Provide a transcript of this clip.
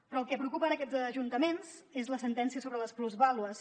però el que preocupa ara aquests ajuntaments és la sentència sobre les plusvàlues